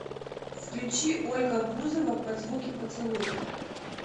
включи ольга бузова под звуки поцелуев